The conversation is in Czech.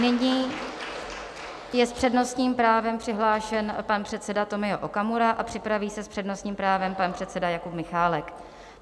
Nyní je s přednostním právem přihlášen pan předseda Tomio Okamura a připraví se s přednostním právem pan předseda Jakub Michálek.